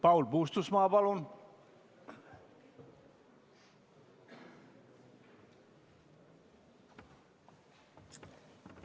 Paul Puustusmaa, palun!